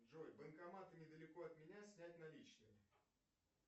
джой банкоматы недалеко от меня снять наличные